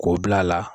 K'o bila a la